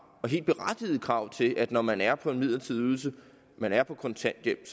helt berettigede krav til at når man er på en midlertidig ydelse man er på kontanthjælp